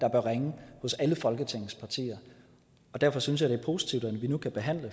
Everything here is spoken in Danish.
at ringe hos alle folketingets partier derfor synes jeg det er positivt at vi nu kan behandle